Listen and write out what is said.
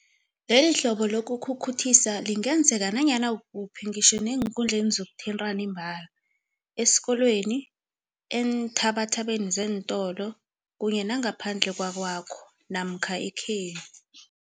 Lelihlobo lokukhukhuthisa lingenzeka nanyana kukuphi, ngitjho neenkundleni zokuthintana imbala, esikolweni, eenthabathabeni zeentolo kunye nangaphandle kwakwakho namkha ekhenu.